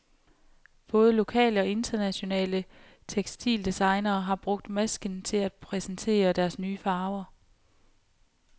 Både lokale og internationale tekstildesignerne har brugt masken til at præsenterer deres nye farver.